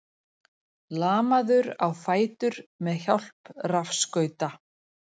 Lamaður á fætur með hjálp rafskauta